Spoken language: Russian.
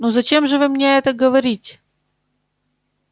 ну зачем же вы мне это говорите